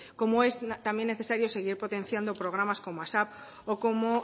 como es también necesario seguir potenciando programas como asap o como